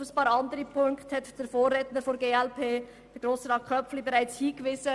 Auf einige andere Punkte hat der Vorredner, Grossrat Köpfli, bereits hingewiesen.